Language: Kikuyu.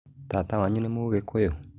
Tata wanyu nĩ mũgĩkũyũ?